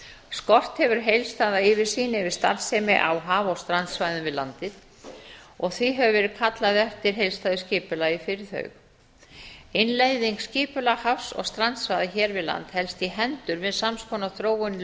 skort hefur heildstæða yfirsýn yfir starfsemi á haf og strandsvæðum við landið og því hefur verið kallað eftir heildstæðu skipulagi fyrir þau innleiðing skipulags hafs og strandsvæða hér við land helst í hendur við sams konar þróun í